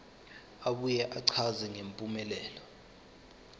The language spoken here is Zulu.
abuye achaze ngempumelelo